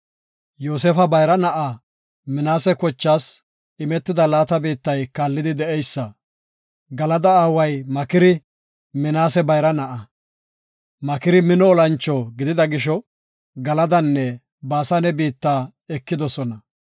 Yoosefa bayra na7aa Minaase kochaas imetida laata biittay kaallidi de7eysa; Galada aaway Makiri Minaase bayra na7a. Makiri mino olancho gidida gisho, Galadanne Baasane biitta ekidosona.